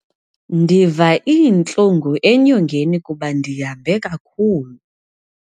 Ndiva iintlungu enyongeni kuba ndihambe kakhulu.